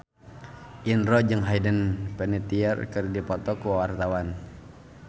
Indro jeung Hayden Panettiere keur dipoto ku wartawan